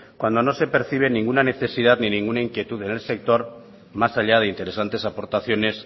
cuando no se percibe ninguna necesidad ni ninguna inquietud en el sector más allá de interesentes aportaciones